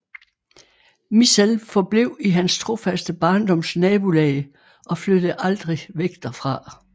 Mizell forblev i hans trofaste barndoms nabolag og flyttede aldrig væk derfra